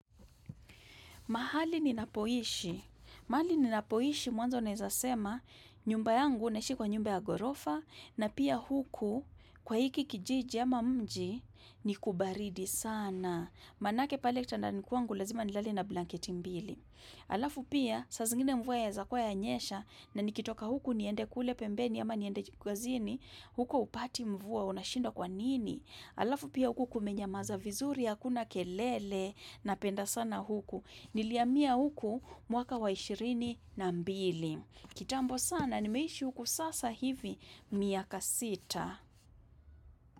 Mahali ni napoishi. Mahali ninapoishi mwanzo naezasema nyumba yangu naishi kwa nyumba ya ghorofa na pia huku kwa hiki kijiji ama mji ni kubaridi sana. Manake pale kitandani kwangu lazima nilale na blanketi mbili. Alafu pia saa zingine mvua yaeza kuwa yanyesha na nikitoka huku niende kule pembeni ama niende kazini huku hupati mvua unashindwa kwa nini. Alafu pia huku kumenyamaza vizuri hakuna kelele napenda sana huku. Nilihamia huku mwaka wa ishirini na mbili. Kitambo sana, nimeishi huku sasa hivi miaka sita.